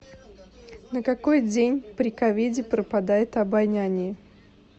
на какой день при ковиде пропадает обоняние